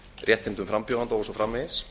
réttindum frambjóðenda og svo framvegis